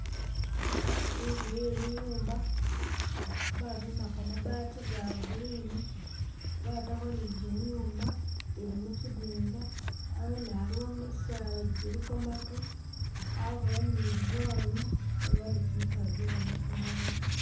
Inzu ye liyumba babimbako mabaati ga green batako ni gimyuma ili mukyidinga hawene aliwo misaala giliko maatu abawo ni lulwanyi abawo ni gimisaala gyegamasanyalaze.